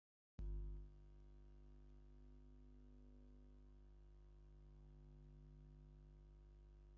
ኣብ ዝተፈላለየ ብርጭቆን ጥርሙዝን ዝተፈላለየ መስተታት የርኢ። ብርጭቆ ቢራን ዊስኪ ወይ ብራንዲ